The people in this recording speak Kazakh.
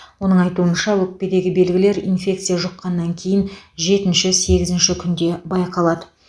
оның айтуынша өкпедегі белгілер инфекция жұққаннан кейін жетінші сегізінші күнде байқалады